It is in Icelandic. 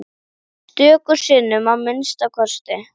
Stöku sinnum að minnsta kosti.